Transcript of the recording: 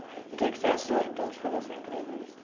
E que que você achou, então, de fazer essa entrevista?